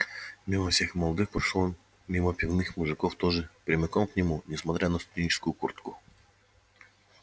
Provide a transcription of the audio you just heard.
мимо всех молодых прошёл он мимо пивных мужиков тоже прямиком к нему несмотря на студенческую куртку